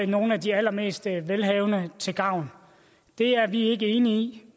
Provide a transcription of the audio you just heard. nogle af de allermest velhavende til gavn det er vi ikke enige i